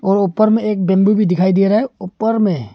और ऊपर में एक बिंदु भी दिखाई दे रहा है ऊपर में--